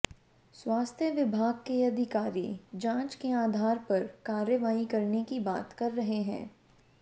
स्वास्थ्य विभाग के अधिकारी जांच के आधार पर कार्रवाई करने की बात कह रहे हैं